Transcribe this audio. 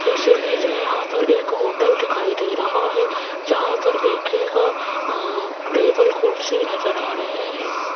इस इमेज में यहां पर एक होटल दिखाई दे रहा है जहां पर देखियेगा अ टेबल कुर्सी नजर आ रहे हैं।